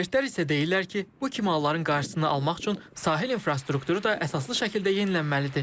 Ekspertlər isə deyirlər ki, bu kimi halların qarşısını almaq üçün sahil infrastrukturu da əsaslı şəkildə yenilənməlidir.